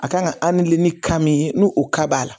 A kan ka ni ka min ye n'o o ka b'a la